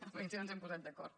a veure si no ens hem posat d’acord